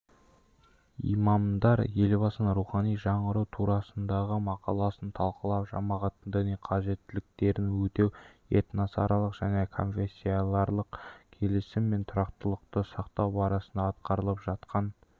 имамдар елбасының рухани жаңғыру турасындағы мақаласын талқылап жамағаттың діни қажеттіліктерін өтеу этносаралық және конфессияаралық келісім мен тұрақтылықты сақтау бағытында атқарылып жатқан